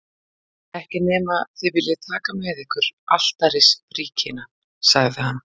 Ekki nema þið viljið taka með ykkur altarisbríkina, sagði hann.